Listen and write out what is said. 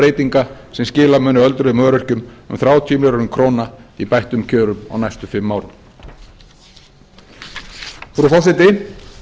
breytinga sem skila munu öldruðum og öryrkjum um þrjátíu mikla krónur í bættum kjörum á næstu fimm árum frú forseti